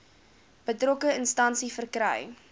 betrokke instansie verkry